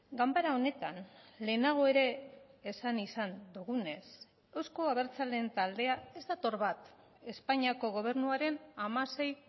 ganbara honetan lehenago ere esan izan dugunez euzko abertzaleen taldea ez dator bat espainiako gobernuaren hamasei